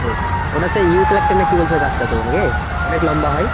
ওটা সেই ইউক্যালিপ্টাস না কি বলছিলে গাছটা তো নাকি, অনেক লম্বা হয়।